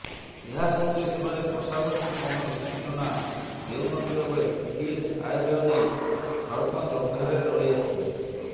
ଏହା ସତ୍ୱେ ସେମାନେ ପ୍ରଶାସନକୁ କୌଣସି ସୂଚନା ଦେଉନଥିବା ବେଳେ ପିଡିଏସ ଆୟବ୍ୟୟ ନେଇ ସରପଞ୍ଚ ଅନ୍ଧାରରେ ରହିଆସିଛନ୍ତି